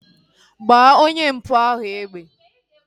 Gbaa onye mpụ ahu egbe!